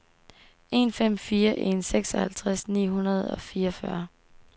en fem fire en seksoghalvtreds ni hundrede og fireogfyrre